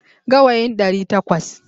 Gawayin ɗari takwas.